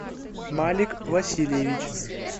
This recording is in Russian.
малик васильевич